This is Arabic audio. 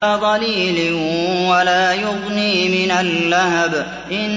لَّا ظَلِيلٍ وَلَا يُغْنِي مِنَ اللَّهَبِ